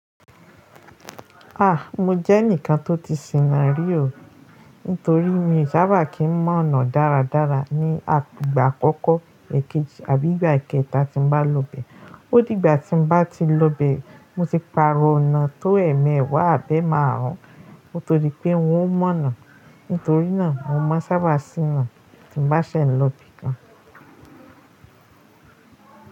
Ah! Mo jẹ́ ẹnìkan tó ti sìnà rí o. Nítorí mi sábà kì ń mọ́ ọ̀nà dáradára ní à igbà àkọ́kọ́ èkejì àbí ìgbà eekẹta tí n bá lọ bẹ̀. Ó dìgbà tí n bá ti lọ bẹ̀, mo ti pààrọ̀ ọ̀nà tó èmeewá àbi eemàárún, nítorí pé wọn ó mọ́ ọ̀nà. Nítorí náà, mo máa n sábà ṣìnà tí n bá ṣe ń lọ ibìkan.